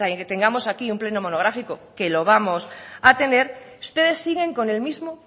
tengamos aquí un pleno monográfico que lo vamos a tener ustedes siguen con el mismo